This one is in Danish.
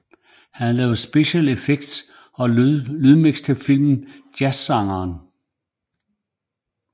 Han lavede special effects og lydmiks til filmen Jazzsangeren